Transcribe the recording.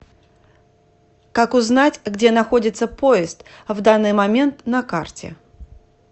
как узнать где находится поезд в данный момент на карте